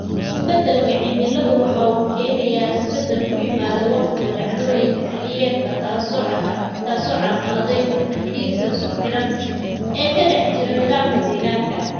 Isbeddelka cimiladu waxa uu keenayaa isbeddel ku yimaada wakhtiga dhacdooyinka xilliyeedka, taas oo carqaladayn karta xidhiidhada isku xidhan ee ka dhex jira nidaamka deegaanka.